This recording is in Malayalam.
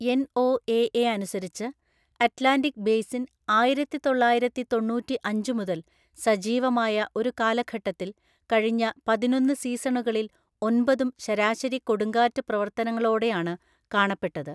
എൻഒഎഎ അനുസരിച്ച്, അറ്റ്ലാന്റിക് ബേസിൻ ആയിരത്തിതൊള്ളായിരത്തിതൊണ്ണൂറ്റിഅഞ്ചു മുതൽ സജീവമായ ഒരു കാലഘട്ടത്തിൽ, കഴിഞ്ഞ പതിനൊന്ന് സീസണുകളിൽ ഒമ്പതും ശരാശരി കൊടുങ്കാറ്റ് പ്രവർത്തനങ്ങളോടെയാണ് കാണപ്പെട്ടത്.